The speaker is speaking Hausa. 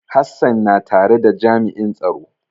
Hassan na tare da jami'in tsaro.